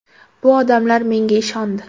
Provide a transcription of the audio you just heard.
Bu odamlar menga ishondi.